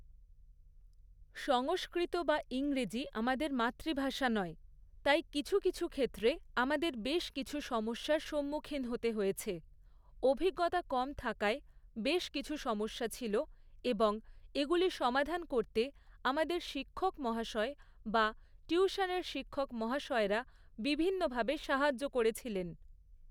সংস্কৃত বা ইংরেজি আমাদের মাতৃভাষা নয়, তাই কিছু কিছু ক্ষেত্রে আমাদের বেশ কিছু সমস্যার সম্মুখীন হতে হয়েছে, অভিজ্ঞতা কম থাকায় বেশ কিছু সমস্যা ছিল এবং এগুলি সমাধান করতে আমাদের শিক্ষক মহাশয় বা টিউশনের শিক্ষক মহাশয়রা বিভিন্নভাবে সাহায্য করেছিলেন।